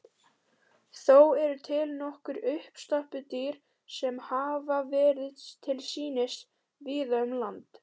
Þó eru til nokkur uppstoppuð dýr sem höfð hafa verið til sýnis víða um land.